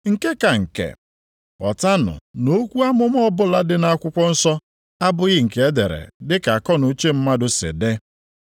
Nke ka nke, ghọtanụ na okwu amụma ọbụla dị nʼakwụkwọ nsọ abụghị nke e dere dịka akọnuche mmadụ si dị.